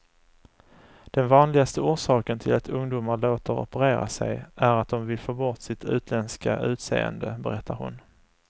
Den vanligaste orsaken till att ungdomar låter operera sig är att de vill få bort sitt utländska utseende, berättar hon.